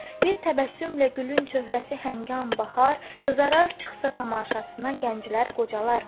Bir təbəssümlə gülün çöhrəsi hangan bahar, qızarar çıxsa tamaşasına gənclər, qocalar.